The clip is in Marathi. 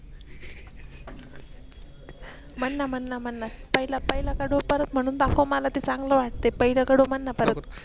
मन मन पहिला पहिला कडव परत म्हणून दाखव मला ते चांगल वाटे पाहिलं कडव मन परत.